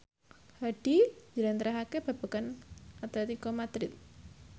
Hadi njlentrehake babagan Atletico Madrid